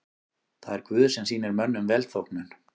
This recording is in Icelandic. Það er Guð sem sýnir mönnum velþóknun.